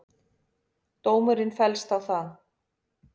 Dómurinn féllst á það.